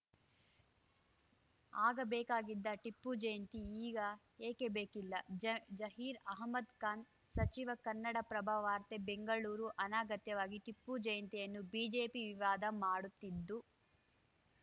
ಆಗ ಬೇಕಾಗಿದ್ದ ಟಿಪ್ಪು ಜಯಂತಿ ಈಗ ಏಕೆ ಬೇಕಿಲ್ಲ ಜ ಜಹೀರ್ ಅಹಮದ್‌ ಖಾನ್‌ ಸಚಿವ ಕನ್ನಡಪ್ರಭ ವಾರ್ತೆ ಬೆಂಗಳೂರು ಅನಗತ್ಯವಾಗಿ ಟಿಪ್ಪು ಜಯಂತಿಯನ್ನು ಬಿಜೆಪಿ ವಿವಾದ ಮಾಡುತ್ತಿದ್ದು